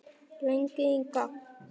Lengi í gang.